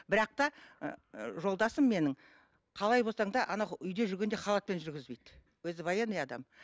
бірақ та ы жолдасым менің қалай болсаң да анау үйде жүргенде халатпен жүргізбейді өзі военный адам